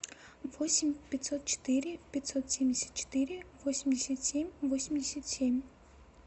восемь пятьсот четыре пятьсот семьдесят четыре восемьдесят семь восемьдесят семь